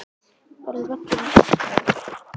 Verður völlurinn stækkaður?